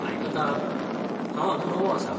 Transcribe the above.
आयकता? हांव हांगा नवो आसा.